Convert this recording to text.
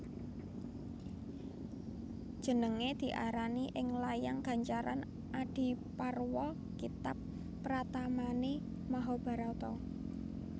Jenengé diarani ing layang gancaran Adiparwa kitab pratamané Mahabharata